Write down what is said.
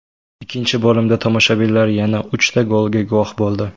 Ikkinchi bo‘limda tomoshabinlar yana uchta golga guvoh bo‘ldi.